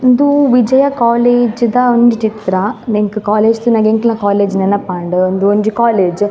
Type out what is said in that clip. ಉಂದು ವಿಜಯ ಕಾಲೇಜ್ದ ಒಂಜಿ ಚಿತ್ರ ಎಂಕ್ ಕಾಲೇಜ್ ತೂನಗ ಎಂಕಲ್ನ ಕಾಲೇಜ್ ನೆನಪಾಂಡ್ ಉಂದು ಒಂಜಿ ಕಾಲೇಜ್ .